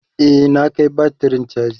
e na Kai batirin chaji